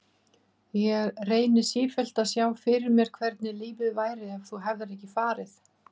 Ég reyni sífellt að sjá fyrir mér hvernig lífið væri ef þú hefðir ekki farið.